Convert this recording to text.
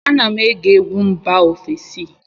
Ana m ege egwu mba ofesi